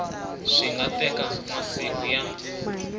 swi nga teka masiku ya